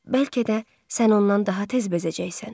Bəlkə də sən ondan daha tez bezəcəksən.